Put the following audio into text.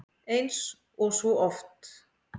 Eins og svo oft!